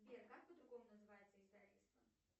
сбер как по другому называется издательство